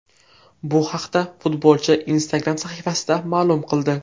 Bu haqda futbolchi Instagram sahifasida ma’lum qildi .